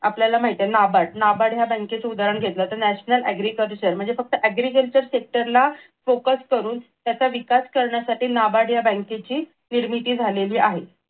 आपल्याला माहितेय नाबाड नाबाड या बँकेचं उदाहरण घेतलं तर national agriculture म्हणजे फक्त agriculture sector ला focus करून त्याचा विकास करण्यासाठी नाबाड या बँकेची निर्मिती झालेली आहे.